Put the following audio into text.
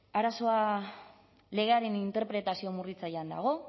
arazoa legearen interpretazio murritzailean dago